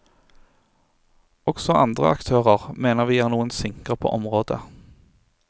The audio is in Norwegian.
Også andre aktører mener vi er noen sinker på området.